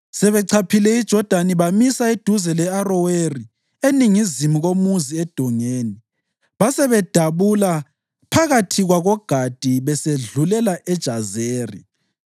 Sebechaphe iJodani bamisa eduze le-Aroweri, eningizimu komuzi edongeni, basebedabula phakathi kwakoGadi besedlulela eJazeri.